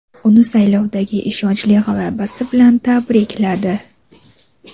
uni saylovdagi ishonchli g‘alabasi bilan tabrikladi.